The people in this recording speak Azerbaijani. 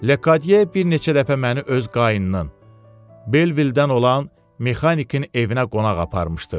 Ledye bir neçə dəfə məni öz qayının Belvildən olan mexanikin evinə qonaq aparmışdı.